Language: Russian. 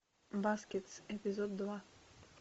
баскетс эпизод два